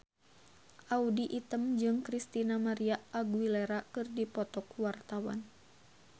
Audy Item jeung Christina María Aguilera keur dipoto ku wartawan